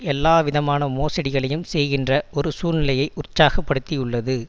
எல்லாவிதமான மோசடிகளையும் செய்கின்ற ஒரு சூழ்நிலையை உற்சாகப்படுத்தியுள்ளது